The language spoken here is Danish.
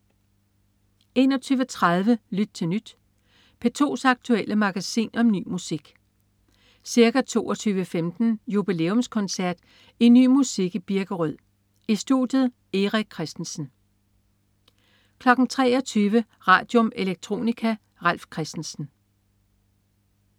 21.30 Lyt til Nyt. P2's aktuelle magasin om ny musik. Ca. 22.15 Jubilæumskoncert i Ny musik i Birkerød. I studiet: Erik Christensen 23.00 Radium. Electronica. Ralf Christensen